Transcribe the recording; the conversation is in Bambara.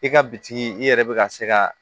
I ka bitigi i yɛrɛ bɛ ka se ka